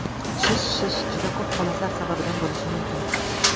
Shish Shish juda ko‘p holatlar sababidan bo‘lishi mumkin.